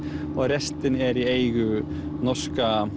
restin er í eigu norska